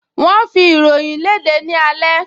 Wọ́n ń fi ìròyìn léde ní alẹ́